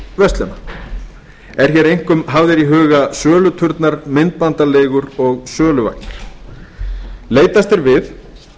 verslana eru hér einkum hafðir í huga söluturnar myndbandaleigur og söluvagnar leitast er við